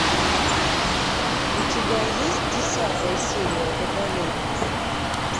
у тебя есть десятая серия водолей